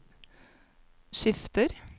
skifter